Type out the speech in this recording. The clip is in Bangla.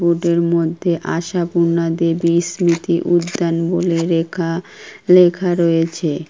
রোড -এর মধ্যে আশাপূর্ণা দেবী স্মৃতি উদ্যান বলে রেখা লেখা রয়েছে।